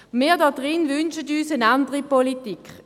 Wir hier wünschen uns eine andere Politik.